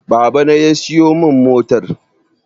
Baba na ya siyo min motar